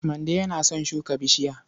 Mande yana son shuka bishiya.